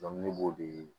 ne b'o de